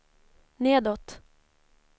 nedåt